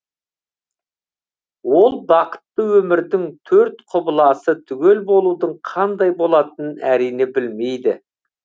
ол бақытты өмірдің төрт құбыласы түгел болудың қандай болатынын әрине білмейді